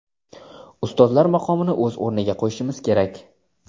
Ustozlar maqomini o‘z o‘rniga qo‘yishimiz kerak.